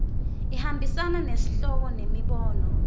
ihambisana nesihloko nemibono